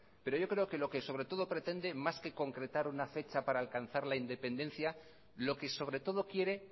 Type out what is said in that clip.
pero yo creo que lo que sobre todo pretende más que concretar una fechar para alcanzar la independencia lo que sobre todo quiere